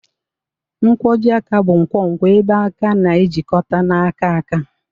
Nkwojiaka bụ nkwonkwo ebe aka na-ejikọta na aka aka.